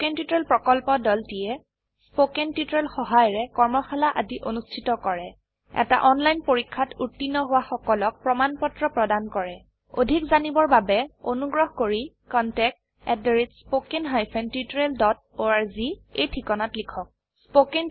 spoken tutorial প্ৰকল্পৰ দলটিয়ে spoken tutorial সহায়িকাৰে কৰ্মশালা আদি অনুষ্ঠিত কৰে এটা অনলাইন পৰীক্ষাত উত্তীৰ্ণ হোৱা সকলক প্ৰমাণ পত্ৰ প্ৰদান কৰে অধিক জানিবৰ বাবে অনুগ্ৰহ কৰি contactspoken tutorialorg এই ঠিকনাত লিখক